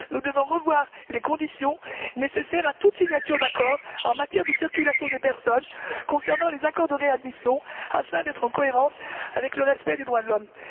Nous devons revoir les conditions nécessaires à toute signature d'accords en matière de circulation des personnes concernant les accords de réadmission, afin d'être en cohérence avec le respect des droits de l'homme.